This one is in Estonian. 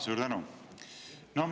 Suur tänu!